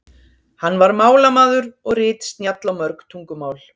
hann var málamaður og ritsnjall á mörg tungumál